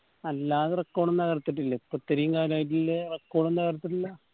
അല്ലാതെ record ഒന്നും തകർത്തിട്ടില്ലേ ഇപ്പോ ഇത്തറേം കാലായിട്ടില്ലേ record ഒന്നു തകർത്തിട്ടില്ല